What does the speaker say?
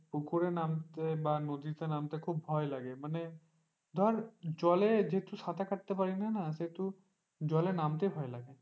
পুকুরে নামতে বা বা নদীতে নামতে খুব ভয় লাগে মানে ধর জলে যেহেতু সাঁতার কাটতে পারিনা না সেহেতু জলে নামতে ভয় লাগে।